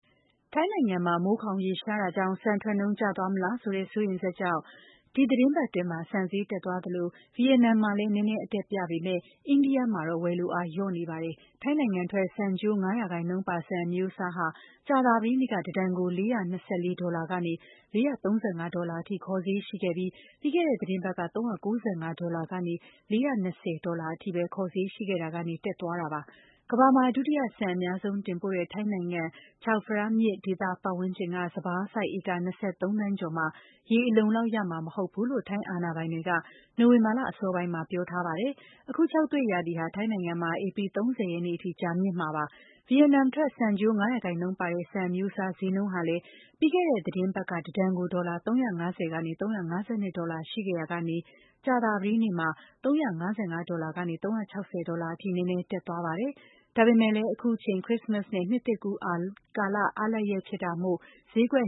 ထိုင်းနိုင်ငံမှာ မိုးခေါင်ရေရှားနေတဲ့အတွက် ဆန်ထွက်နှုန်းကျသွားမလားဆိုတဲ့ စိုးရိမ်ချက်ကြောင့် ဒီသီတင်းပတ်အတွင်း ဆန်ဈေး တက်သွားသလို ဗီယက်နမ်မှာလည်း နည်းနည်းအတက်ပြပေမယ့် အိန္ဒိယမှာတော့ ဝယ်လိုအားလျော့နေပါတယ်။ ထိုင်းနိုင်ငံထွက် ဆန်ကျိုး ၅% ပါ ဆန်အမျိုးအစားဟာ ကြာသပတေးနေ့က တတန်ကို ၄၂၄ ဒေါ်လာကနေ ၄၃၅ ဒေါ်လာအထိ ခေါ်ဈေးရှိခဲ့ပြီး ပြီးခဲ့တဲ့သီတင်းပတ်က ၃၉၅ ဒေါ်လာကနေ ၄၂၀ ဒေါ်လာအထိပဲ ခေါ်ဈေးရှိခဲ့တာကနေ တက်သွားတာပါ။ ကမ္ဘာမှာ ဒုတိယ ဆန်အများဆုံးတင်ပို့တဲ့ ထိုင်းနိုင်ငံ Chao Phraya မြစ်ဝှမ်းဒေသပတ်ဝန်းကျင်က စပါးစိုက်ဧက ၂၃ သန်းကျော် မှာ ရေအလုံအလောက် ရမှာမဟုတ်ဘူးလို့ ထိုင်းအာဏာပိုင်တွေက နိုဝင်ဘာလအစောပိုင်းမှာ ပြောထားပါတယ်။ အခုခြောက်သွေ့ရာသီဟာ ထိုင်းနိုင်ငံမှာ ဧပြီလ ၃၀ ရက်နေ့အထိ ကြာမြင့်မှာပါ။ ဗီယက်နမ်ထွက် ဆန်ကျိုး ၅% ပါ ဆန်အမျိုးအစား ဈေးနှုန်းဟာလည်း ပြီးခဲ့တဲ့သီတင်းပတ်က တတန်ကို ဒေါ်လာ ၃၅၀ ကနေ ၃၅၂ ဒေါ်လာ ရှိခဲ့ရာက ကြာသပတေးနေ့မှာ ၃၅၅ ဒေါ်လာကနေ ၃၆၀ ဒေါ်လာအထိ နည်းနည်းတက်သွားပါတယ်။ ဒါပေမယ့်လည်း အခုချိန်ဟာ ခရစ္စမတ်စ်နဲ့ နှစ်သစ်ကူးကာလ အားလပ်ရက်ရာသီဖြစ်နေတာမို့ ဈေးကွက်